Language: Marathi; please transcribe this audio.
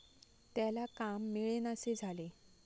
त्याला काम मिळेनासे झाले.